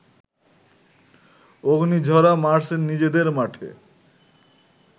অগ্নিঝরা মার্চে নিজেদের মাঠে